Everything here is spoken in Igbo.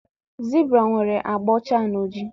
Zibra nwere agba ọcha na ojii.